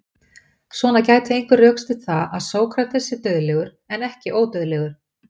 Svona gæti einhver rökstutt það að Sókrates sé dauðlegur en ekki ódauðlegur.